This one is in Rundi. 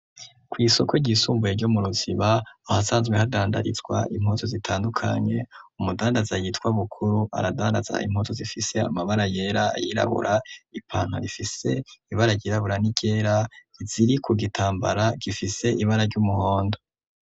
Kw'isoko ryisumbuye ryo mu ruziba ahasanzwe hadandarizwa impoto zitandukanye umudandaza yitwa bukuru aradaraza impoto zifise amabara yera yirabura ipanta rifise ibara ryirabura niryera iziri ku gitambara gifise ibara ry'umuhondo.